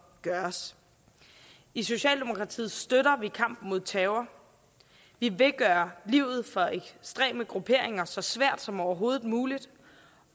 gøres i socialdemokratiet støtter vi kampen mod terror vi vil gøre livet for ekstreme grupperinger så svært som overhovedet muligt